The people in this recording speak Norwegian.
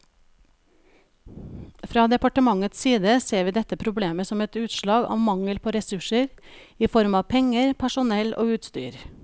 Fra departementets side ser vi dette problemet som et utslag av mangel på ressurser i form av penger, personell og utstyr.